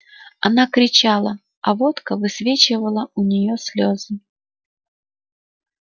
она кричала а водка высвечивала у неё слезы